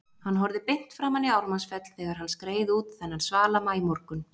Hann horfði beint framan í Ármannsfell þegar hann skreið út þennan svala maímorgun.